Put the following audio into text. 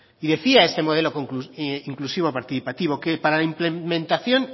decía el modelo inclusivo participativo que para implementación